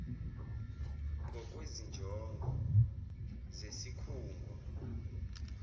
ngokwezi njongo zesikhungo